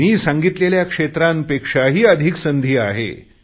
मी सांगितलेल्या क्षेत्रांपेक्षाही अधिक संधी आहे